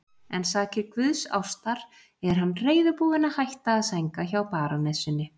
En sakir guðsástar er hann reiðubúinn að hætta að sænga hjá barónessunni.